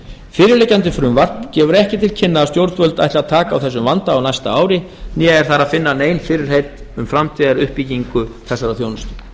fyrirliggjandi frumvarp gefur ekki til kynna að stjórnvöld ætli að taka á þessum vanda á næsta ári né er þar að finna nein fyrirheit um framtíðaruppbyggingu þessarar þjónustu